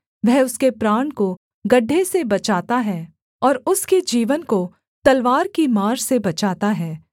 वह उसके प्राण को गड्ढे से बचाता है और उसके जीवन को तलवार की मार से बचाता हे